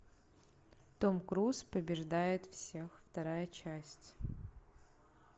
том круз побеждает всех вторая часть